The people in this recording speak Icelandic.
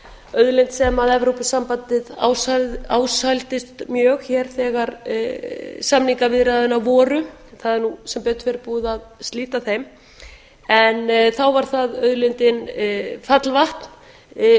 auðlind sem evrópusambandið ásældist mjög hér þegar samningaviðræðurnar voru það er nú sem betur fer búið að slíta þeim en þá var það auðlind fallvatn